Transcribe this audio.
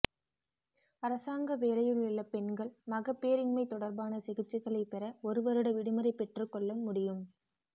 அரசாங்க வேலையிலுள்ள பெண்கள் மகப்பேறின்மை தொடர்பான சிகிச்சைகளை பெற ஒருவருட விடுமுறை பெற்றுக் கொள்ள முடியும்